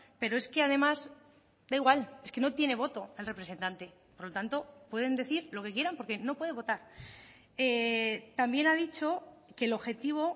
pero es que además da igual es que no tiene voto el representante por lo tanto pueden decir lo que quieran porque no puede votar también ha dicho que el objetivo